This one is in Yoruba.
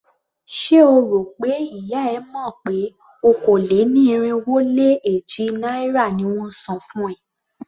Ṣé o rò pé ìyá e mọ̀ pé okòó-lé-ní-irínwó-lé-èjì náírà ni won ń san fún ẹ?